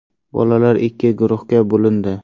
Bolalar ikki guruhga bo‘lindi.